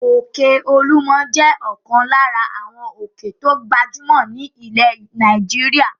Òkè Olúmọ̀ jẹ́ ọ̀kan lára àwọn òkè tó gbajúmọ̀ ní ilẹ̀ Nàìjíríà.